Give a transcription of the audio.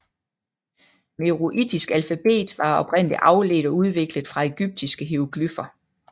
Meroitisk alfabet var oprindelig afledt og udviklet fra egyptiske hieroglyfer